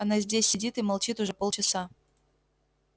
она здесь сидит и молчит уже полчаса